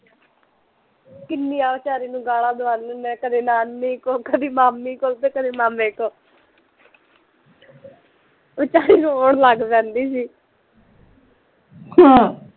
ਕਿੰਨੀਆ ਵੀਚਾਰੀ ਨੂੰ ਗਾਲਾ ਦਵਾਉਂਦੇ ਹੁੰਦੇ ਆ ਕਦੇ ਨਾਨੀ ਕੋਲੋਂ ਕਦੀ ਮਾਮੀ ਕੋਲੋਂ ਤੇ ਕਦੀ ਮਾਮੇ ਕੋਲੋਂ ਵੀਚਾਰੀ ਰੋਣ ਲੱਗ ਜਾਂਦੀ ਸੀ